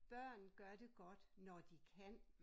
Børn gør det godt når de kan